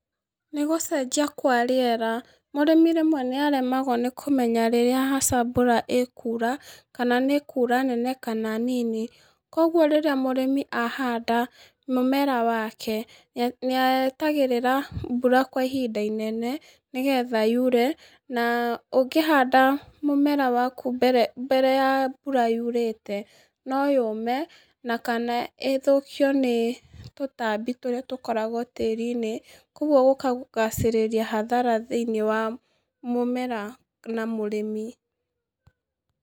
Nĩ gũcenjia kwa rĩera, mũrĩmi rĩmwe nĩ aremwagwo nĩ kũmenya rĩrĩa hasa mbura ĩkuura, kana nĩ ĩkuura nene kana nini. Kogwo rĩrĩa mũrĩmi ahanda mũmera wake, ni etagĩrĩra mbura kwa ihinda inene nĩ getha yuure. Na ũngĩhanda mũmera waku mbere ya mbura yurĩte, no yũme, na kana ĩthũkio nĩ tũtambi tũrĩa tũkoragwo tĩĩri-inĩ, kogwo gũkagacĩrĩria hathara thĩ-inĩ wa mũmera kana mũrĩmi.